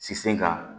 Si sen ka